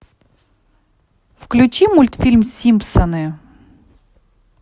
включи мультфильм симпсоны